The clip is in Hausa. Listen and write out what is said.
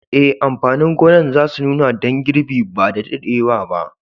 Eh, amfanin gonan za su nuna dan girbi ba da daddewa ba.